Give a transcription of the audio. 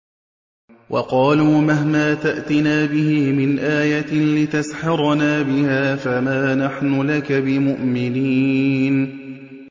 وَقَالُوا مَهْمَا تَأْتِنَا بِهِ مِنْ آيَةٍ لِّتَسْحَرَنَا بِهَا فَمَا نَحْنُ لَكَ بِمُؤْمِنِينَ